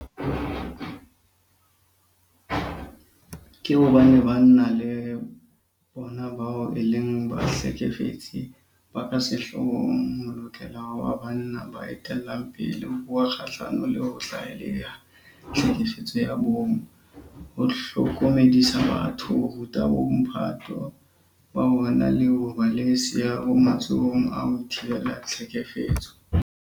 Ka hobane banna ke bona bao e leng bahlekefetsi ba ka sehloohong, ho lokela ho ba banna ba etellang pele ho bua kgahlano le ho tlaleha tlhekefetso ya bong, ho hlokomedisa batho, ho ruta bomphato ba bona le ho ba le seabo matsholong a ho thibela tlhekefetso.